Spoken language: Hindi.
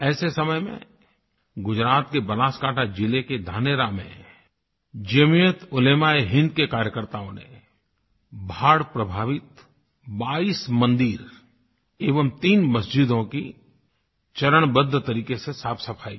ऐसे समय में गुजरात के बनासकांठा ज़िले के धानेरा में जमीयत उलेमाएहिन्द के कार्यकर्ताओं ने बाढ़ प्रभावित 22 मंदिरों एवं 3 मस्जिदों की चरणबद्ध तरीक़े से साफ़सफ़ाई की